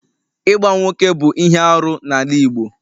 Ịgba nwoke bụ ihe arụ n'ala Igbo